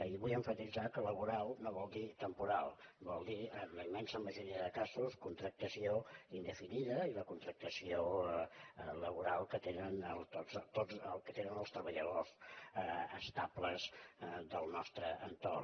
i vull emfatitzar que laboral no vol dir temporal vol dir en la immensa majoria de casos contractació indefinida i la contractació laboral que tenen tots els treballadors estables del nostre entorn